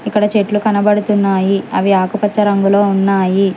ఇక్కడ చెట్లు కనబడుతున్నాయి అవి ఆకుపచ్చ రంగులో ఉన్నాయి.